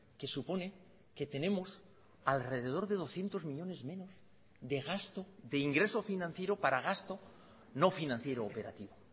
que supone que tenemos alrededor de doscientos millónes menos de gasto de ingreso financiero para gasto no financiero operativo